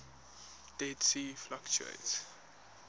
dead sea fluctuates